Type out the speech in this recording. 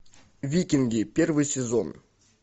викинги первый сезон